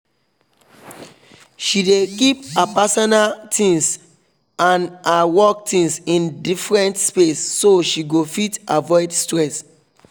she dey keep her personal things and her work things in deferent space so she go fit avoid stress